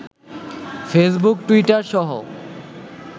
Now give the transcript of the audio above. Facebook, Twitter সহ